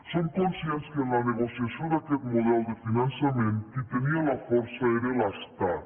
som conscients que en la negociació d’aquest model de finançament qui tenia la força era l’estat